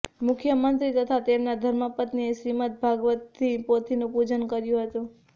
મુખ્યમંત્રી તથા તેમના ધર્મપત્નીએ શ્રીમદ્ ભાગવતની પોથીનું પૂજન કર્યુ હતું